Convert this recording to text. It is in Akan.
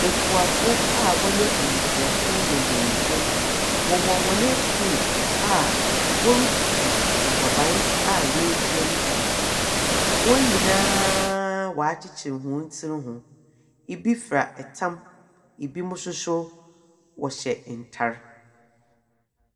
Ekuafo a wɔyɛ mmesiafo ne mbanyimfo, wɔwɔ hɔn afuom a wɔretutu nnɔbae a wɔadua no bi wom. Wɔn nyinaa wɔakyekyer wɔn tiri ho. Ibi fira tam, binom nso so wɔhyɛ ntar.